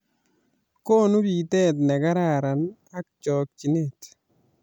Konu biteet ne kararan ak chokchinet